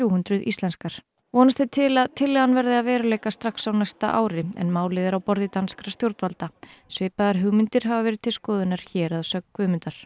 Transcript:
hundruð íslenskar vonast er til að tillagan verði að veruleika strax á næsta ári en málið er á borði danskra stjórnvalda svipaðar hugmyndir hafa verið til skoðunar hér að sögn Guðmundar